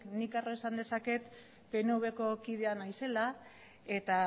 nik ere esan dezaken pnvko kidea naizela eta